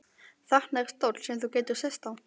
Þarna er stóll sem þú getur sest á.